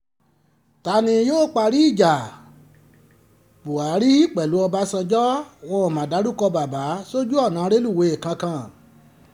ta ni yóò parí ìjà buhari pẹ̀lú ọbànjọ́ wọn ó ma dárúkọ bàbà sójú ọ̀nà rélùwé kankan